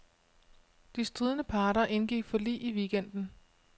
De stridende parter indgik forlig i weekenden.